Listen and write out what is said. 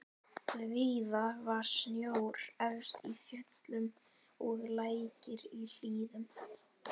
Víða var snjór efst í fjöllum og lækir í hlíðum.